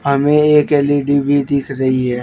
हमें एक एल_ई_डी भी दिख रही है।